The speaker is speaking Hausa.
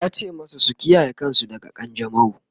yace masu su kiyaye kansu daga kanjamau!